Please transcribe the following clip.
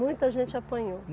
Muita gente apanhou.